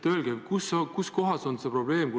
Öelge, kuskohas on siin probleem.